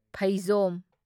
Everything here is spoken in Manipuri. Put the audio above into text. ꯐꯩꯖꯣꯝ